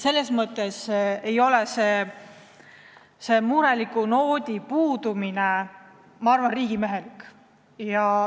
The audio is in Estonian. Selles mõttes ei ole see mureliku noodi puudumine, ma arvan, riigimehelik.